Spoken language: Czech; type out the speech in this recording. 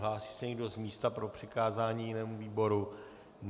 Hlásí se někdo z místa pro přikázání jinému výboru?